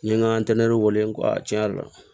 N ye n ka wele n ko ayi tiɲɛ yɛrɛ la